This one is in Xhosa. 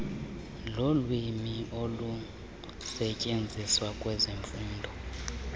wolwimi olusetyenziswa kwezemfundo